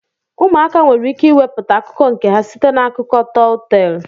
Ụmụaka nwere ike iweputa akụkọ nke ha site na akụkọ tọl tel.